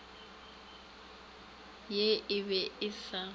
ye e be e sa